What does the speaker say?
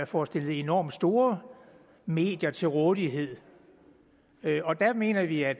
får stillet enormt store medier til rådighed og der mener vi at